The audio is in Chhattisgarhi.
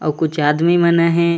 अऊ कुछ आदमी मन आहे।